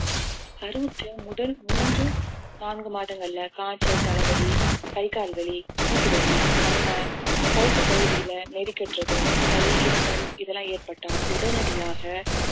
கருவுற்ற முதல் மூன்று நான்கு மாதங்கள்ல காய்ச்சல் தலை வலி கை கால் வலி மூட்டு வலி அம்மை கழுத்து பகுதியில நெறி கட்டுறது சளி இருமல் இதெல்லாம் ஏற்பட்டால் உடனடியாக